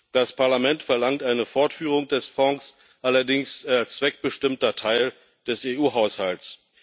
Das Parlament verlangt eine Fortführung des Fonds, allerdings als zweckbestimmter Teil des EU Haushalts.